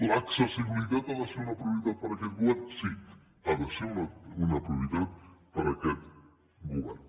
l’accessibilitat ha de ser una prioritat per a aquest govern sí ha de ser una prioritat per a aquest govern